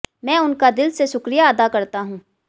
मैं उनका दिल से शुक्रिया अदा करता हूं